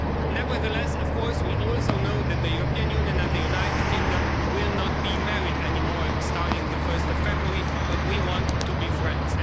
Nevertheless, of course, we also know that the European Union and the United Kingdom will not be married any more, starting on 1 February, but we want to be friends.